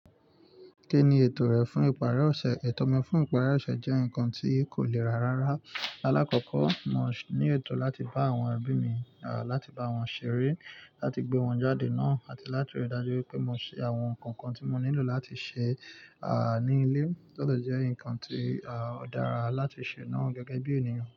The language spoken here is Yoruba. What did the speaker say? Kí ni ètò rẹ fún ìparí ọ̀ṣẹ̀? Ètò mi fún ìparí ọ̀ṣẹ̀ jẹ́ ǹkan tí kò le ràrára. Alákọ̀kọ́, mo ní ètò láti bá àwọn ẹbí mi, láti bá wọn ṣeré, láti gbé wọn jáde náà, àti láti rí i dájú pé mo ṣe àwọn ǹkan kan tí mo nílò láti ṣe, à, ní ilé, tó de jẹ́ ǹkan tí, à, ó dára láti ṣe náà gẹ́gẹ́ bí ènìyàn.